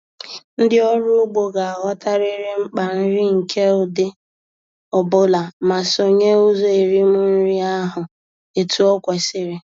Ndị ọrụ ugbo ga-aghọtarịrị mkpa nri nke ụdị ọ bụla ma sonye ụzọ erim nri ahụ etu o kwesiri.